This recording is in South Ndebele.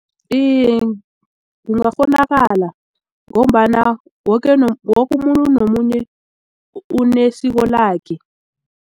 Iye, kungakghonakala ngombana woke umuntu nomunye unesiko lakhe.